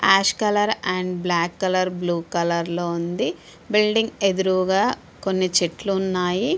Yash colour and black colour blue colour లో ఉంది and building ఎదురుగా కొన్ని చెట్లు ఉన్నాయి .